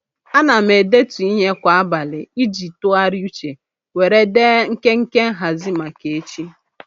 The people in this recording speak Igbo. A na m edetu ihe kwa abalị iji tụgharị uche were dee nkenke nhazị maka echi.